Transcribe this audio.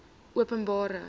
openbare